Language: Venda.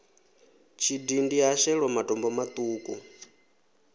tshidindi ha shelwa matombo maṱuku